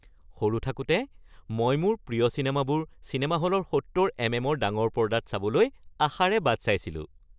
সৰু থাকোতে মই মোৰ প্ৰিয় চিনেমাবোৰ চিনেমা হলৰ সত্তৰ এমএম-ৰ ডাঙৰ পৰ্দাত চাবলৈ আশাৰে বাট চাইছিলোঁ৷